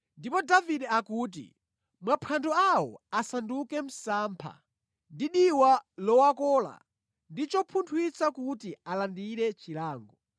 Ndipo Davide akuti, “Maphwando awo asanduke msampha ndi diwa lowakola ndi chopunthwitsa kuti alandire chilango.